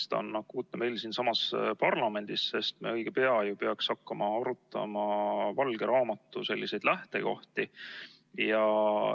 See on akuutne meil siinsamas parlamendis, sest me õige pea peaks hakkama arutama valge raamatu lähtekohti.